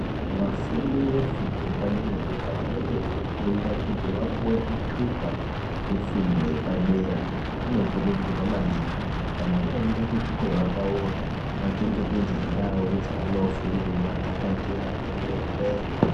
Vafundi vefundo yepadera dera vanenge veifunda kuti vapuwe zvitupa zvefundo yepadera vanokurudzirwa maningi kuti kana vaenda kuzvikora kwavo vachengetedze ndau dzavanofundira dzakachena kwemene.